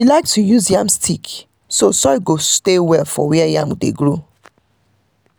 she like to use yam stick so soil go stay well for where di yam dey grow.